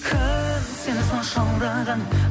кім сені сонша алдаған